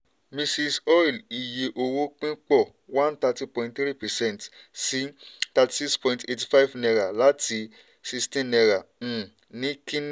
mrs oil iye owó ìpín pọ̀ one thirty point three percent sí thirty six point eighty five naira láti sixteen naira um ní kínní.